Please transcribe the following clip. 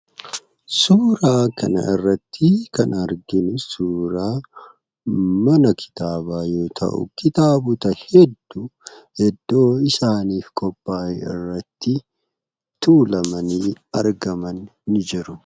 Suuraa kana irratti kan arginu, suuraa mana kitaabaa yoo ta'u kitaabota hedduu iddoo isaaniif qophaa'e irratti tuulamanii argaman ni jiru.